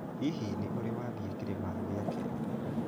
Hihi nĩ ũrĩ wathiĩ Kĩrĩma gĩa Kenya?